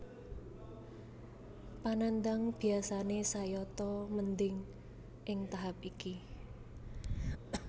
Panandhang biyasane sayata mendhing ing tahap iki